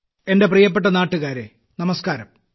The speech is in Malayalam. എന്റെ പ്രിയപ്പെട്ട നാട്ടുകാരെ നമസ്ക്കാരം